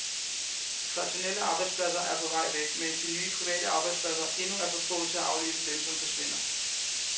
De traditionelle arbejdspladser er på vej væk, mens de nye private arbejdspladser endnu er for få til at afløse dem, som forsvinder.